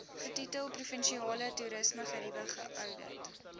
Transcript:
getitel provinsiale toerismegerieweoudit